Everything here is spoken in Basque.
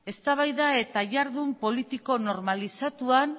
eztabaida eta jardun politiko normalizatuan